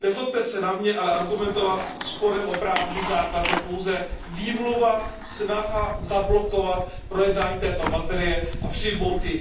Nezlobte se na mě, ale argumentovat sporem o právní základ je pouze výmluva, snaha zablokovat projednání této materie a její přijetí.